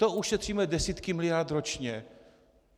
To ušetříme desítky miliard ročně.